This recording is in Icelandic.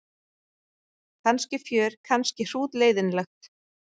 Kannski fjör kannski hrútleiðinlegt.